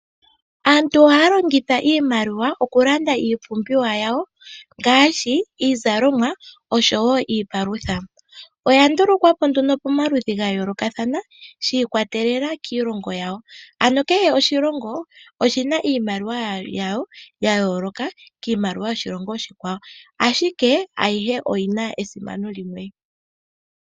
Aantu ohaya longitha iimaliwa okulanda iipumbiwa yawo ngaashi iizalomwa niipalutha. Oya ndulukwapo pomaludhi ga yoolokathana shi ikwatelela kiilongo yawo, kehe oshilongo oshina iimaliwa yasho ya yooloka kiimaliwa yoshilongo oshikwawo ashike ayihe oyina esimano limwe.